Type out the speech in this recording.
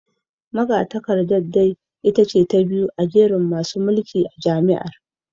Magatakardar dai ita ce ta biyu a jerin masu mulki a jami’ar